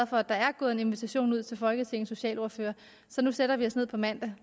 for at der er gået en invitation ud til folketingets socialordførere nu sætter vi os ned på mandag og